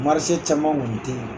Marise caman kɔni tɛ yen.